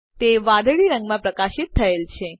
તે વાદળી રંગમાં પ્રકાશિત થયેલ છે